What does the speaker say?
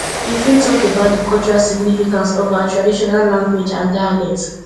you fit talk about di cultural significance of our traditional language and dialect